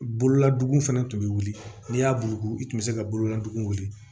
Bololaduguw fɛnɛ tun bɛ wuli n'i y'a bugu i tun bɛ se ka bololadugugu de